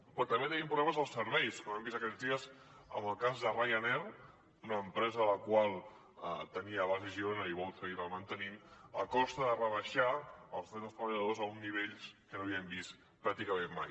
però també tenim problemes als serveis com hem vist aquests dies amb el cas de ryanair una empresa la qual tenia base a girona i vol seguir la mantenint a costa de rebaixar els drets dels treballadors a uns nivells que no havíem vist pràcticament mai